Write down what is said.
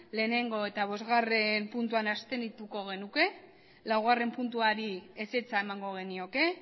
batgarrena eta bostgarrena puntuan abstenituko genuke laugarrena puntuari ezetza emango genioke